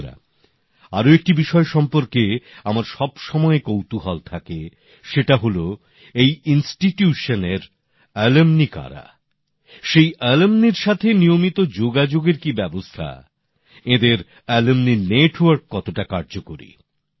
বন্ধুরা আর একটি বিষয় সম্পর্কে আমার সবসময়ে কৌতূহল থাকে সেটা হল এই প্রতিষ্ঠানের প্রাক্তনি কারা সেই প্রাক্তনিদের সঙ্গে নিয়মিত যোগাযোগের কি ব্যবস্থা এঁদের প্রাক্তনিদের সঙ্গে যোগাযোগ কতটা কার্যকরী